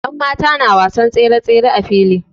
Yanmata na wasan tsere-tsere a fili.